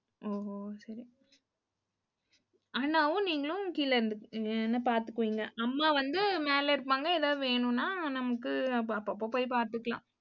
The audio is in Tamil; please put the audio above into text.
ஓஹோ, சரி. அண்ணாவும் நீங்களும் கீழ இருந்துப்பிங்க அஹ் என்ன பார்த்துக்குவீங்க. அம்மா வந்து மேல இருப்பாங்க ஏதாவது வேணும்னா நமக்கு, அப்பப்ப போய் பார்த்துக்கலாம்.